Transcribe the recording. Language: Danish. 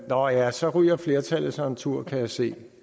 nå ja så ryger flertallet sig en tur kan jeg se